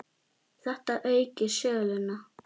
Þetta auki söluna.